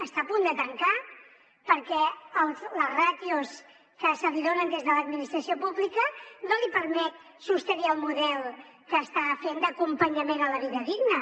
està a punt de tancar perquè les ràtios que se li donen des de l’administració pública no li permeten sostenir el model que està fent d’acompanyament a la vida digna